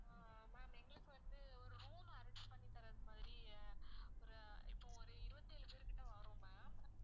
அஹ் ma'am எங்களுக்கு வந்து ஒரு room arrange பண்ணி தர்றது மாதிரி ஒரு இப்ப ஒரு இருவத்தி ஏழு பேர் கிட்ட வாறோம் ma'am